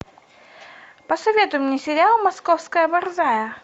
посоветуй мне сериал московская борзая